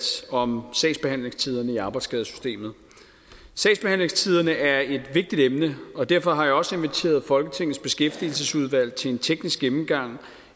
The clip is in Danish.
om sagsbehandlingstiderne i arbejdsskadesystemet sagsbehandlingstiderne er et vigtigt emne og derfor har jeg også inviteret folketingets beskæftigelsesudvalg til en teknisk gennemgang